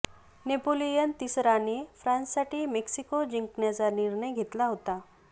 Napoleon तिसराने फ्रान्ससाठी Mexico जिंकण्याचा निर्णय घेतला होता